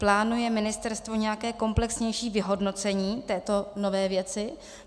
Plánuje ministerstvo nějaké komplexnější vyhodnocení této nové věci?